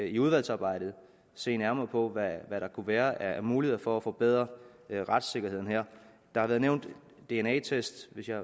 i udvalgsarbejdet se nærmere på hvad der kunne være af muligheder for at forbedre retssikkerheden her der har været nævnt dna test hvis jeg